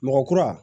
Mɔgɔ kura